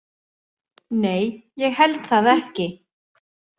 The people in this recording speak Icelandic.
Nei, ég held það ekki.